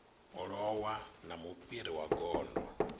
lowa na mufhiri wa gondo